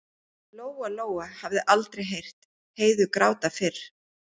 Lóa Lóa hafði aldrei heyrt Heiðu gráta fyrr.